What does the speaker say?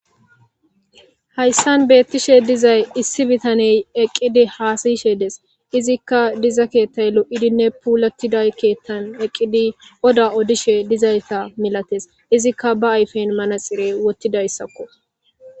hayssan beettishe dizay issi bitaney eqqidi haasayishe des izikka diza keettay lo7idinne puulatiday keettan eqqidi oda odishe dizayta milates izikka ba ayfen manaxire wottidayssakko